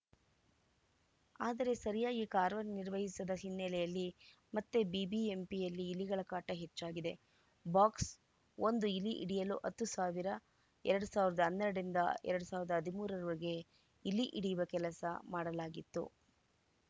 ಆದರೆ ಸೆರಿಯಾಗಿ ಕಾರ್ಯ ನಿರ್ವಹಿಸದ ಹಿನ್ನಲೆಯಲ್ಲಿ ಮತ್ತೆ ಬಿಬಿಎಂಪಿಯಲ್ಲಿ ಇಲಿಗಳ ಕಾಟ ಎಚ್ಚಾಗಿದೆ ಬಾಕ್ಸ್ ಒಂದು ಇಲಿ ಹಿಡಿಯಲು ಹತ್ತು ಸಾವಿರ ಎರಡ್ ಸಾವಿರದ ಹನ್ನೆರಡರಿಂದ ಎರಡ್ ಸಾವಿರದ ಹದಿಮೂರರ ವರೆಗೆ ಇಲಿ ಹಿಡಿಯುವ ಕೆಲಸ ಮಾಡಲಾಗಿತ್ತು